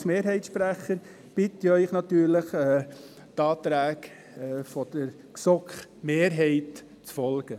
Als Mehrheitssprecher bitte ich Sie natürlich, den Anträgen der GSoKMehrheit zu folgen.